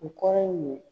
U kɔrɔ ye mun ye